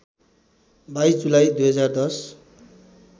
२२ जुलाई २०१०